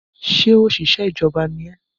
Ṣé òṣìṣẹ́ ìjọba ni ẹ́?